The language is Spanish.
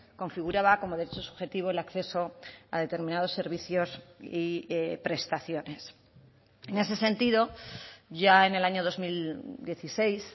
configuraba como derecho subjetivo el acceso a determinados servicios y prestaciones en ese sentido ya en el año dos mil dieciséis